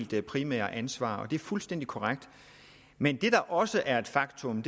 det primære ansvar og det er fuldstændig korrekt men det der også er et faktum